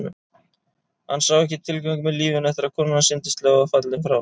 Hann sá ekki tilgang með lífinu eftir að konan hans yndislega var fallin frá.